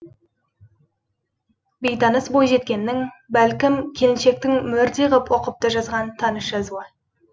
бейтаныс бойжеткеннің бәлкім келіншектің мөрдей ғып ұқыпты жазған таныс жазуы